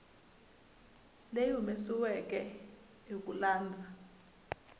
leyi humesiweke hi ku landza